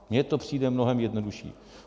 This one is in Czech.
Mně to přijde mnohem jednodušší.